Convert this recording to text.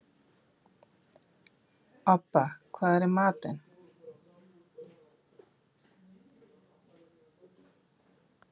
Obba, hvað er í matinn?